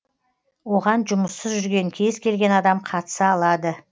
оған жұмыссыз жүрген кез келген адам қатыса алады